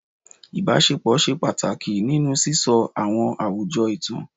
Ibasepo ṣe ipa pataki ninu sisọ awọn awujọ itan